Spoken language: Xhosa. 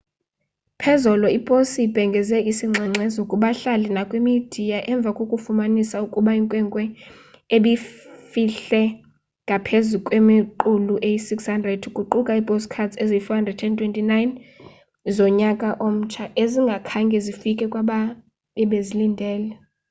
phezolo iposi ibhengeze isingxengxezo kubahlali nakwimidiya emva kokufumanisa ukuba inkwenkwe ebifihle ngaphezu kwemiqulu eyi 600 kuquka iipostcards eziyi 429 zonyaka omtsha ezingakhange zifike kwabebezilindele